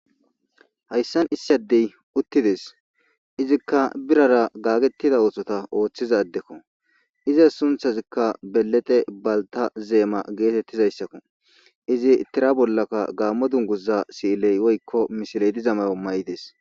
hayssan issadey uttides izikka birara gaagettida oosota ooththizadekko iza sunthazikka belete balta zeema geetettizayssakko izi tira bollaka gaammo dunguza siiley oykko misiledi zamayo may7ides